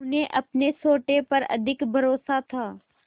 उन्हें अपने सोटे पर अधिक भरोसा था